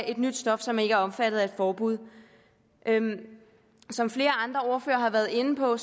et nyt stof som ikke er omfattet af et forbud som flere andre ordførere har været inde på